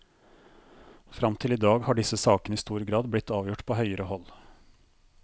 Frem til i dag har disse sakene i stor grad blitt avgjort på høyere hold.